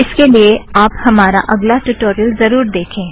इसके लिए आप हमारा अगला ट्युटोरियलस ज़रुर देखें